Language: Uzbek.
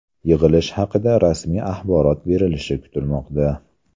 Yig‘ilish haqida rasmiy axborot berilishi kutilmoqda.